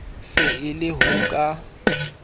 se e le ho ka